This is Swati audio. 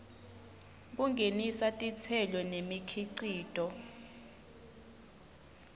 kungenisa titselo nemikhicito